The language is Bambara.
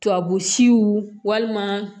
Tubabu siw walima